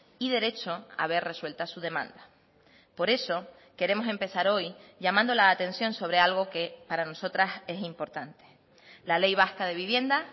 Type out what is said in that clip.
y derecho a ver resuelta su demanda por eso queremos empezar hoy llamando la atención sobre algo que para nosotras es importante la ley vasca de vivienda